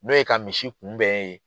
N'o ye ka misi kunbɛn ye